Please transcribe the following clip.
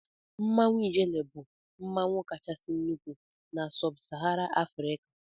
Mmanwụ ijele bụ mmanwụ kachasị nnụkwụ na-sub sahara afrika.